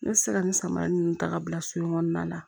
Ne bɛ se ka nin samara ninnu ta ka bila so in kɔnɔna na